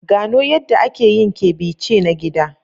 Gano yadda ake yin ceviche na gida.